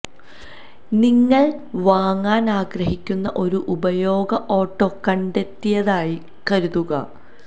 നിങ്ങൾ വാങ്ങാൻ ആഗ്രഹിക്കുന്ന ഒരു ഉപയോഗ ഓട്ടോ കണ്ടെത്തിയതായി കരുതുക